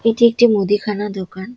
এটি একটি মুদিখানা দোকান।